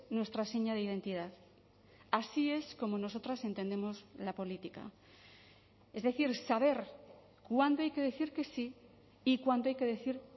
nuestra seña de identidad así es como nosotras entendemos la política es decir saber cuándo hay que decir que sí y cuándo hay que decir